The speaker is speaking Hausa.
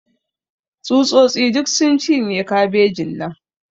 Tsutsotsi duk sun cinye kabejin nan.